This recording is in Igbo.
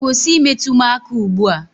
Kwụsị I metụ m aka ugbu a!